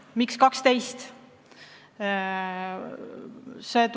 Miks 12?